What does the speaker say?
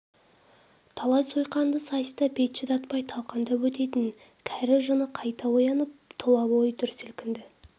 талай сойқанды сайыста бет шыдатпай талқандап өтетін кәрі жыны қайта оянып тұла бойы дүр сілкінді